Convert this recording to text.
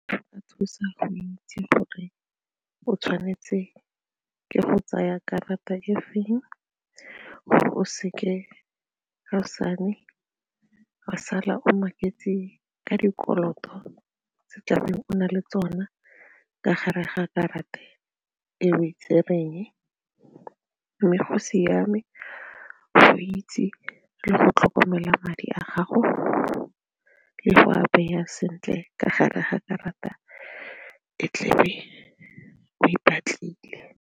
Go o tshwanetse ke go tsaya karata e feng gore o seke kaosane wa sala o maketse ka dikoloto se o tlabeng o na le tsona ka gare ga karata e o e tsereng mme go siame go itse le go tlhokomela madi a gago le go a beya sentle ka gare ga karata e tle e o e batlile.